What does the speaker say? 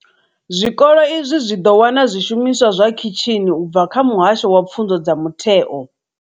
Zwikolo izwi zwi ḓo wana zwishumiswa zwa khitshini u bva kha muhasho wa pfunzo dza mutheo.